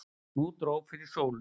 Nú dró fyrir sólu.